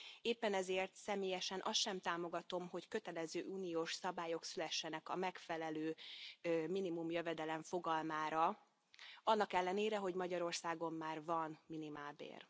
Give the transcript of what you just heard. Éppen ezért személyesen azt sem támogatom, hogy kötelező uniós szabályok szülessenek a megfelelő minimumjövedelem fogalmára, annak ellenére, hogy Magyarországon már van minimálbér.